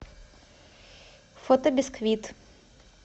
фото бисквит